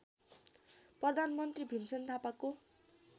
प्रधानमन्त्री भीमसेन थापाको